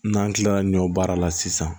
N'an kilala ɲɔ baara la sisan